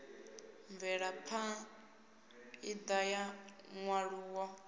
mvelapha ṋda ya nyaluwo ya